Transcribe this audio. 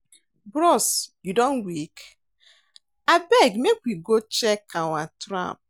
Bros you don wake? Abeg make we go check our trap.